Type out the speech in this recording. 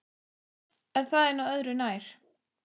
En það er nú örðu nær.